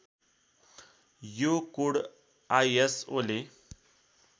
यो कोड आइएसओले